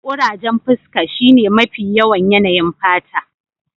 Kurajen fuska shine mafi yawan yanayin fata